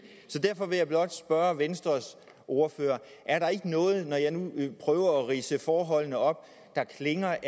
så derfor vil jeg blot spørge venstres ordfører er der ikke noget når jeg nu prøver at ridse forholdene op der klinger